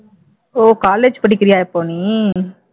ஓ college படிக்கிறியா இப்போ நீ